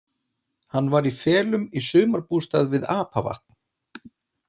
Hann var í felum í sumarbústað við Apavatn.